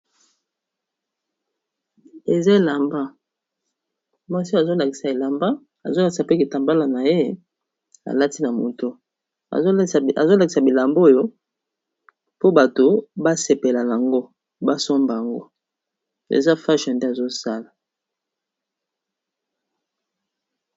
Eza elamba mwasi azolakisa elamba azolakisa pe ketambala na ye alatina moto azolakisa bilamba oyo po bato basepela yango basomba yango eza fach nde azosala.